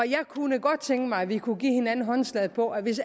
jeg kunne godt tænke mig at vi kunne give hinanden håndslag på at hvis